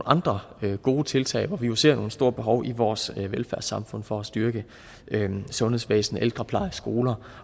andre gode tiltag vi ser jo nogle store behov i vores velfærdssamfund for at styrke sundhedsvæsenet ældreplejen skolerne